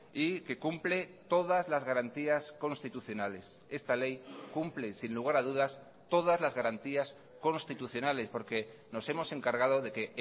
y que cumple todas las garantías constitucionales esta ley cumple sin lugar a dudas todas las garantías constitucionales porque nos hemos encargado de que